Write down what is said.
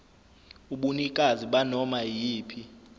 ubunikazi banoma iyiphi